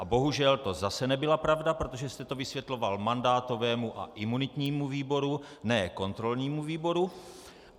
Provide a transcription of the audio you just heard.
A bohužel to zase nebyla pravda, protože jste to vysvětloval mandátovému a imunitnímu výboru, ne kontrolnímu výboru.